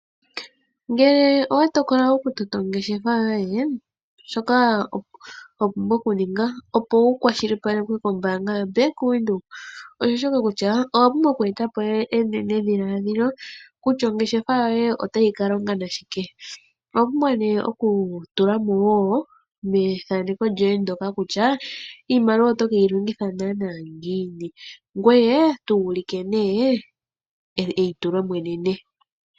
Ngele owa tokola okutota ongeshefa yoye, shoka wa pumbwa okuninga opo wu kwashilipalekwe kombaanga yoBank Windhoek owa pumbwa okweeta po enenedhiladhilo kutya ongeshefa yoye otayi ka longa nashike. Owa pumbwa okutula mo wo methaneko lyoye ndyoka kutya iimaliwa oto ke yi longitha nanaa ngiini, ngweye tu ulike eitulo mo enene.